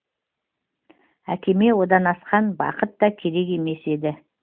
әкеме одан асқан бақытта керек емес еді